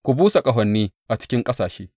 Ku busa ƙahoni a cikin ƙasashe!